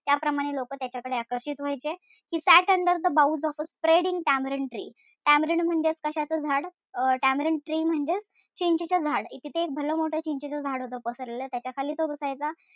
त्याप्रमाणे लोक त्याच्याकडे आकर्षित व्हायचे की sat under the boughs of a spreading tamarind tree tamarind म्हणजे कशाचं झाड अं tamarind tree म्हणजेचं चिंचेच झाड. तिथे भला मोठा चिंचेच झाड होत. पसरलेलं त्याचा खाली तो बसायचा.